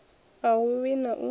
a hu vhi na u